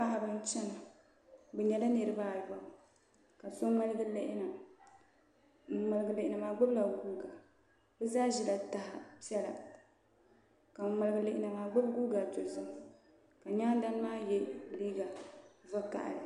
Paɣaba n chɛna bi nyɛla niraba ayobu ka so ŋmaligi lihina ŋun ŋmaligi lihina maa gbubila guuka bi zaa ʒila taha piɛla ka ŋun ŋmaligi lihina maa gbubi guuka dozim ka nyaan dani maa yɛ liigq vakaɣali